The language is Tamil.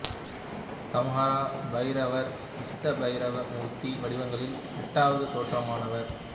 சம்ஹார பைரவர் அஷ்ட பைரவ மூர்த்தி வடிவங்களில் எட்டாவது தோற்றமாவார்